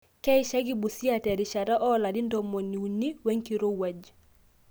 keishaki Busia te rishata oo larin ntomoni uni we nkirowuaj